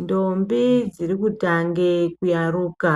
Ndombi dziri kutange kuyaruka